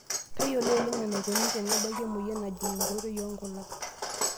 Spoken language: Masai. Tayiolo oleng' enaikoni tenebaki emoyian najing' enkoitoi oonkulak.